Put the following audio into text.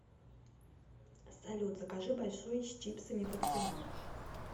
салют закажи большой с чипсами под кино